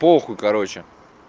похуй короче